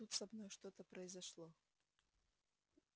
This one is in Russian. тут со мной что-то произошло